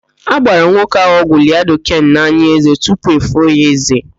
A gbara nwoke ahụ ọgwụ laịdoken n'ányị̀ ézé tupu efoo ya ézé.